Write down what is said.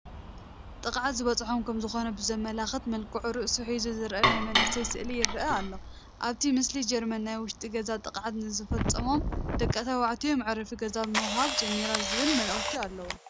ጥቅዓት ዝበፅሖ ከምዝኾነ ብዘመላኽት መልክዑ ርእሱ ሒዙ ዝርአ ናይ መንእሰይ ስእሊ ይርአ ኣሎ፡፡ ኣብቲ ምስሊ ጀርመን ናይ ውሽጢ ገዛ ጥቅዓት ንዝፍፀሞም ደቂ ተባዕትዮ መዕረፊ ገዛ ምሃብ ጀሚራ ዝብል መልእኽቲ ኣለዎ፡፡